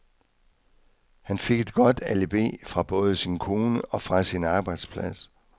Han fik et godt alibi fra både sin kone og fra sin arbejdsplads.